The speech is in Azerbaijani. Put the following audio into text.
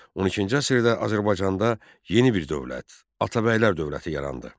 12-ci əsrdə Azərbaycanda yeni bir dövlət - Atabəylər dövləti yarandı.